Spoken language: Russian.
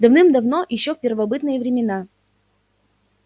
давным-давно ещё в первобытные времена